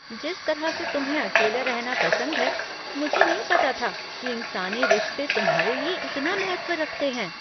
जिस तरह से तुम्हें अकेला रहना पसंद है, मुझे नहीं पता था कि इंसानी रिश्ते तुम्हारे लिए इतना महत्व रखते हैं।